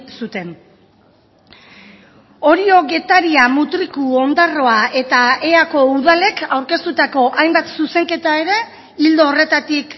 zuten orio getaria mutriku ondarroa eta eako udalek aurkeztutako hainbat zuzenketa ere ildo horretatik